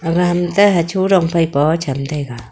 aga ham ta hachu rong phaipa poh cham taiga.